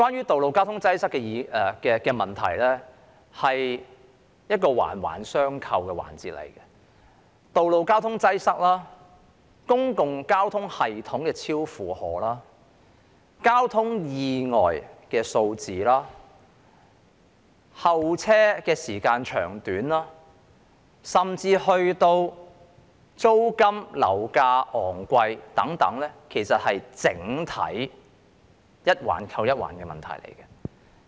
道路交通擠塞是一個環環相扣的問題，道路交通擠塞、公共交通系統超負荷、交通意外數字、候車時間長短，甚至租金和樓價昂貴等，是在整體上環環相扣的問題。